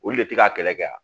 Olu de tɛ ka kɛlɛ kɛ a.